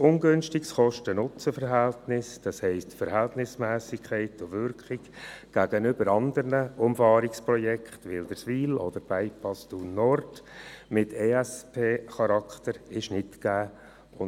Ein günstiges Kosten-NutzenVerhältnis, das heisst, die Verhältnismässigkeit und Wirkung im Vergleich zu anderen Umfahrungsprojekten wie etwa zur Umfahrung Wilderswil oder zum Bypass Thun-Nord mit Charakter eines Entwicklungsschwerpunkts (ESP) ist nicht gegeben.